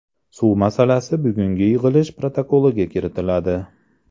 Suv masalasi bugungi yig‘ilish protokoliga kiritiladi.